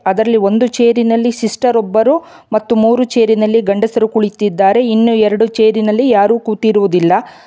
ಅದರಲ್ಲಿ ಒಂದು ಚೇರಿನಲ್ಲಿ ಸಿಸ್ಟರ್ ಒಬ್ಬರು ಮೂರು ಚೇರಿನಲ್ಲಿ ಗಂಡಸರು ಕುಳಿತಿದ್ದಾರೆ ಇನ್ನು ಎರಡು ಚೇರಿನಲ್ಲಿ ಯಾರೂ ಕೂತಿರುವುದಿಲ್ಲ.